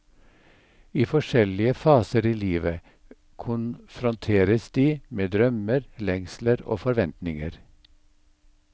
I forskjellige faser i livet konfrontertes de med drømmer, lengsler og forventninger.